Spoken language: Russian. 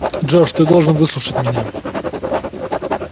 джордж ты должен выслушать меня